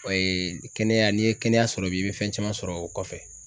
O ye kɛnɛya n'i ye kɛnɛya sɔrɔ bi i be fɛn caman sɔrɔ o kɔfɛ.